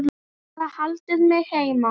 Bara haldið mig heima!